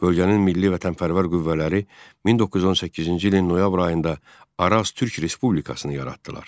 Bölgənin milli vətənpərvər qüvvələri 1918-ci ilin noyabr ayında Araz Türk Respublikasını yaratdılar.